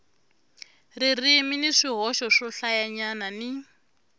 ririmi ni swihoxo swohlayanyana ni